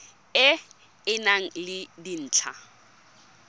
e e nang le dintlha